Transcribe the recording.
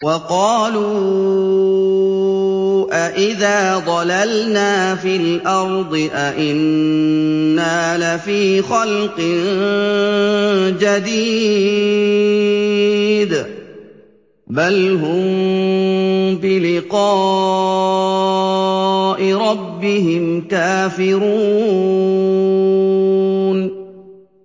وَقَالُوا أَإِذَا ضَلَلْنَا فِي الْأَرْضِ أَإِنَّا لَفِي خَلْقٍ جَدِيدٍ ۚ بَلْ هُم بِلِقَاءِ رَبِّهِمْ كَافِرُونَ